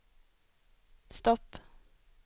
stopp